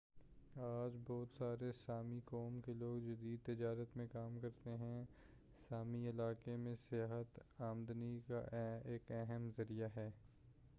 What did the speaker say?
آج بہت سارے سامی قوم کے لوگ جدید تجارت میں کام کرتے ہیں سامی علاقے میں سیاحت آمدنی کا ایک اہم ذریعہ ہے